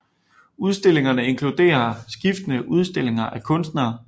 Udstillingerne inkluderer skiftende udstillinger af kunstnere